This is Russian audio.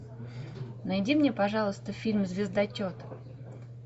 найди мне пожалуйста фильм звездочет